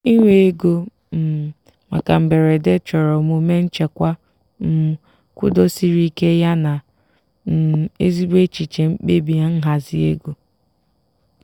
iwe ego um maka mberede chọrọ omume nchekwa um kwudosiri ike yana um ezigbo echiche mkpebi nhazi ego.